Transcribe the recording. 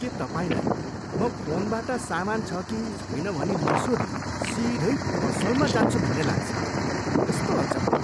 के तपाईँलाई म फोनबाट सामान छ कि छैन भनी नसोधी सिधै पसलमा जान्छु भन्ने लाग्छ? कस्तो अचम्म!